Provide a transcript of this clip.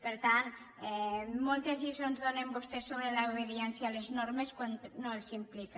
per tant moltes lliçons donen vostès sobre l’obediència a les normes quan no els implica